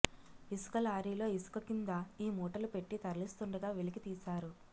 ఇసుక లారీలో ఇసుక కింద ఈ మూటలు పెట్టి తరలిస్తుండగా వెలికి తీశారు